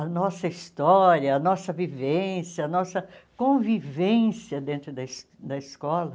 A nossa história, a nossa vivência, a nossa convivência dentro da es da escola.